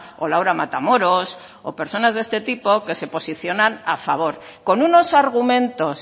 o laura matamoros o personas de este tipo que se posicionan a favor con unos argumentos